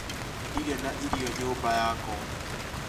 Ndirĩ na irio nyũmba yakwa